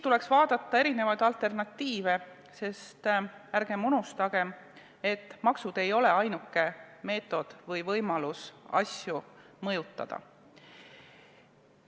Tuleks vaadata erinevaid alternatiive, sest ärgem unustagem, et maksud ei ole ainuke võimalus asju mõjutada.